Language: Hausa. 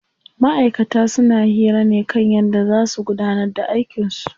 Ma'aikata suna hira ne kan yadda zaa su gudanar da aikin su.